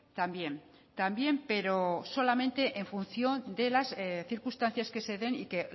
también también pero solamente en función de las circunstancias que se den y que